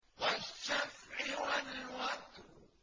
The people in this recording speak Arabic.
وَالشَّفْعِ وَالْوَتْرِ